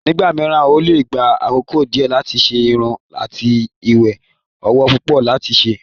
Nígbà mìíràn, ó lè gba àkókò díẹ̀ láti ṣe irun àti iye owó púpọ̀ láti ṣe.